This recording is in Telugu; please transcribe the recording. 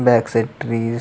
back side trees --